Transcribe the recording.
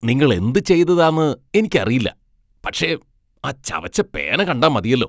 നിങ്ങൾ എന്തു ചെയ്തതാന്ന് എനിക്കറിയില്ല, പക്ഷേ ആ ചവച്ച പേന കണ്ടാ മതിയല്ലോ.